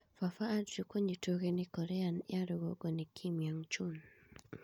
Papa Andrew kũnyitwo ũgeni Korea ya rũgongo nĩ Kim Yong Chun